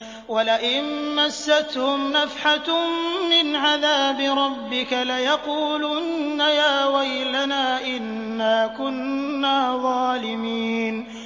وَلَئِن مَّسَّتْهُمْ نَفْحَةٌ مِّنْ عَذَابِ رَبِّكَ لَيَقُولُنَّ يَا وَيْلَنَا إِنَّا كُنَّا ظَالِمِينَ